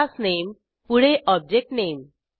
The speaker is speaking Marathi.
क्लास नेम पुढे ऑब्जेक्ट नेम